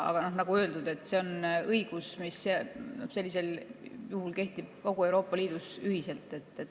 Aga nagu öeldud, see õigus sellisel juhul kehtib kogu Euroopa Liidus ühiselt.